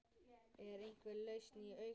Er einhver lausn í augsýn?